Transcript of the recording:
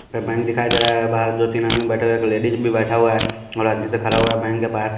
bank दिखाई दे रहा है बाहर दो तीन आदमी बैठे हुए एक लेडीज भी बैठा हुआ है और आदमी से खड़ा हुआ है बैंक के पास--